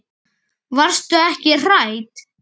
Varstu ekki hrædd?